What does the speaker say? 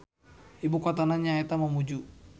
Ibukotana nyaeta Mamuju.